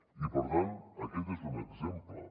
i per tant aquest n’és un exemple